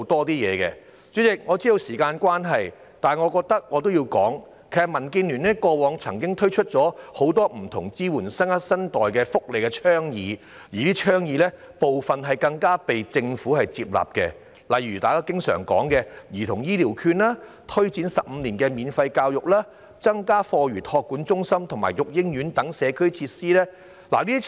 主席，我知道發言時限快到，但我想指出，民建聯過往曾經提出很多支援新生代的福利倡議，部分更獲得政府接納，例如大家經常討論的兒童醫療券、推展15年免費教育，以及增加課餘託管中心和育嬰院等社區設施。